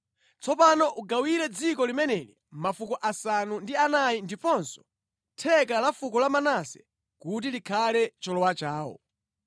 Tsopano ugawire dziko limeneli mafuko asanu ndi anayi ndiponso theka la fuko la Manase, kuti likhale cholowa chawo.”